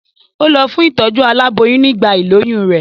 Ó lọ fún ìtọ́jú aláboyún nígbà ìlóyún rẹ̀.